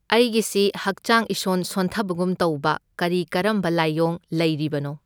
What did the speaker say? ꯑꯩꯒꯤꯁꯤ ꯍꯛꯆꯥꯡ ꯏꯁꯣꯟ ꯁꯣꯟꯊꯕꯒꯨꯝ ꯇꯧꯕ ꯀꯔꯤ ꯀꯔꯝꯕ ꯂꯥꯏꯌꯣꯡ ꯂꯩꯔꯤꯕꯅꯣ?